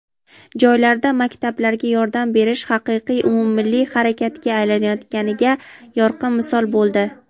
joylarda maktablarga yordam berish haqiqiy umummilliy harakatga aylanayotganiga yorqin misol bo‘ldi.